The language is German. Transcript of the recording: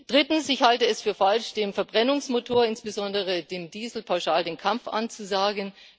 Drittens Ich halte es für falsch, dem Verbrennungsmotor, insbesondere dem Diesel, pauschal den Kampf anzusagen.